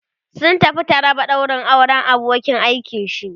sun tafi taraba daurin auran abokin aikin shi